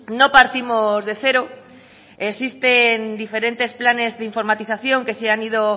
no partimos de cero existen diferentes planes de informatización que se han ido